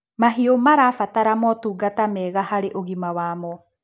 Mahiũ marabata motungata mega harĩ ũgima wamo.